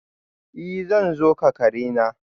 I! zan zo ka kare na.